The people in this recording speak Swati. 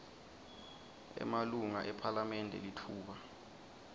emalunga ephalamende litfuba